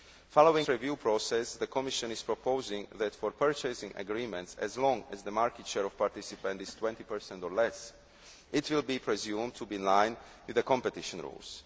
Following its review process, the Commission is proposing that for purchasing agreements, as long as the market share of participants is 20 or less, it will be presumed to be in line with the competition rules.